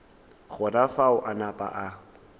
gona fao a napa a